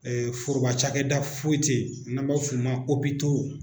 Ɛɛ foroba cakɛda foyi tɛ yen n'a b'a f'o ma ko opitow